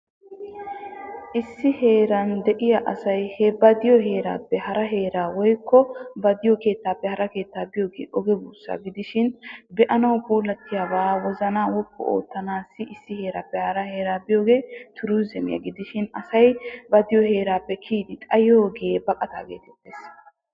Issi heran de'iya asay he ba de'iyo herappe hara hera bikko woyko ba de'iyo kettappe haraa keettaa biyogge oggee busa gidishin be'anawu pullattiyabbabba a wozanna woppu ottanassi issi herappe haraa heraa biyogee turizimiyaa gidishin asay ba de'iyoo herappe kiyiddi xayiyogge baqatta gettees.